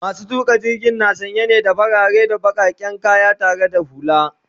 masu tuƙa jirgin na sanye ne da farare da bakaken kaya tare da hulla